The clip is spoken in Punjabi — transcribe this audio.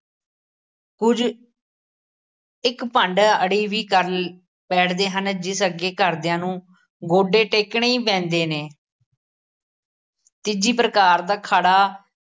ਕੁੱਝ ਇੱਕ ਭੰਡ ਅੜੀ ਵੀ ਕਰ ਬੈਠਦੇ ਹਨ ਜਿਸ ਅੱਗੇ ਘਰਦਿਆਂ ਨੂੰ ਗੋਡੇ ਟੇਕਣੇ ਈ ਪੈਂਦੇ ਨੇ ਤੀਜੀ ਪ੍ਰਕਾਰ ਦਾ ਅਖਾੜਾ